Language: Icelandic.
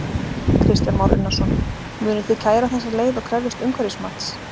Kristján Már Unnarsson: Munuð þið kæra þessa leið og krefjast umhverfismats?